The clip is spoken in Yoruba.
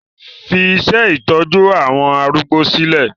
Fi iṣẹ́ ìtọ́jú àwọn arúgbó sílẹ̀!